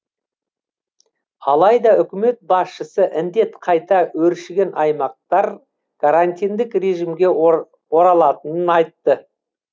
алайда үкімет басшысы індет қайта өршіген аймақтар карантиндік режимге оралатынын айтты